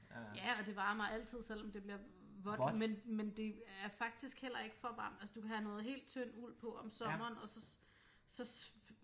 Ja og det varmer altid selvom det bliver vådt men men det er faktisk heller ikke for at altså du kan have noget helt tynd uld på om sommeren og så så